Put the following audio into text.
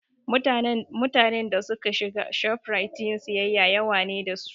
Mutanen da suke shiga Shoprite yin siyayya yawa ne da su